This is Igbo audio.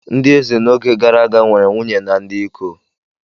Ndị eze n'oge gara aga nwere nwunye na ndị iko.